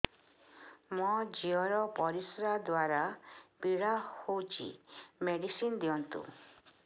ମୋ ଝିଅ ର ପରିସ୍ରା ଦ୍ଵାର ପୀଡା ହଉଚି ମେଡିସିନ ଦିଅନ୍ତୁ